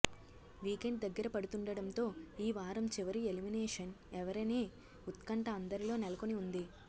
weekend దగ్గర పడుతుండడంతో ఈ వారం చివరి ఎలిమినేషన్ ఎవరనే ఉత్కంఠ అందరిలో నెలకొని ఉంది